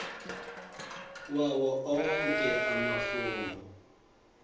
wawo onkhe emafomu